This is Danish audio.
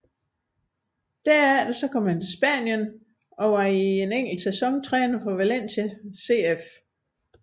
Derefter kom han til Spanien og var i én sæson træner for Valencia CF